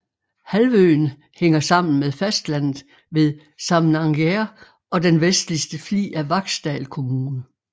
Halvøen hænger sammen med fastlandet ved Samnanger og den vestligste flig af Vaksdal kommune